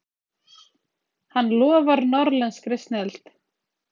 Hann lofar norðlenskri snilld.